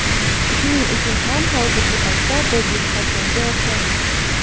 shuning uchun ham hozirgi paytda biz yutqazganga o‘xshaymiz.